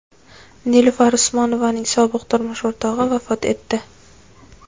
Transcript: Nilufar Usmonovaning sobiq turmush o‘rtog‘i vafot etdi.